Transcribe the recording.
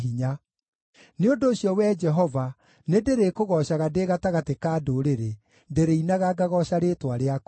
Nĩ ũndũ ũcio, Wee Jehova, nĩndĩrĩkũgoocaga ndĩ gatagatĩ ka ndũrĩrĩ, ndĩrĩinaga ngagooca rĩĩtwa rĩaku.